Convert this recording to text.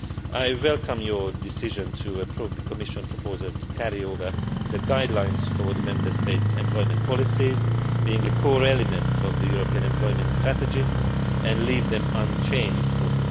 Berès. I welcome your decision to approve the Commission proposal to carry over the guidelines for the Member States' employment policies being a core element of the European Employment Strategy and leave them unchanged